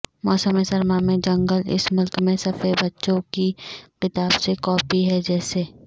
موسم سرما میں جنگل اس ملک میں صفحے بچوں کی کتاب سے کاپی ہے جیسے